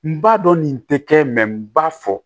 N b'a dɔn nin tɛ kɛ n b'a fɔ